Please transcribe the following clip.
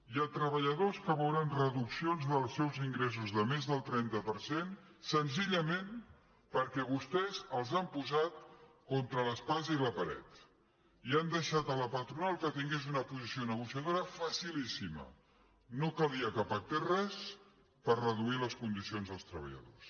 hi ha treballa·dors que veuran reduccions dels seus ingressos de més del trenta per cent senzillament perquè vostès els han po·sat contra l’espasa i la paret i han deixat a la patro·nal que tingués una posició negociadora facilíssima no calia que pactés res per reduir les condicions dels treballadors